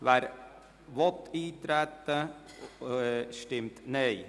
wer eintreten will, stimmt Nein.